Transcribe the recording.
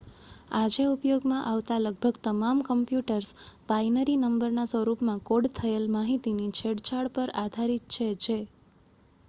આજે ઉપયોગમાં આવતા લગભગ તમામ કમ્પ્યુટર્સ બાઈનરી નંબરના સ્વરૂપમાં કોડ થયેલ માહિતીની છેડછાડ પર આધારિત છે જે